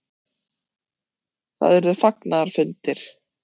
Það urðu fagnaðarfundir.